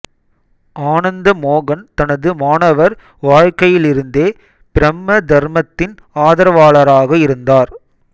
ஆனந்தமோகன் தனது மாணவர் வாழ்க்கையிலிருந்தே பிரம்ம தர்மத்தின் ஆதரவாளராக இருந்தார்